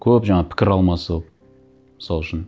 көп жаңағы пікір алмасып мысал үшін